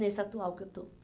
Nesse atual que eu estou.